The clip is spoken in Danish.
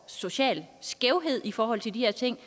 social skævhed i forhold til de her ting